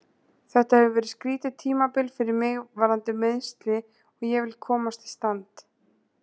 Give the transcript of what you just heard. Þetta hefur verið skrýtið tímabil fyrir mig varðandi meiðsli og ég vil komast í stand.